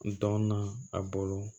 Dɔn na a bolo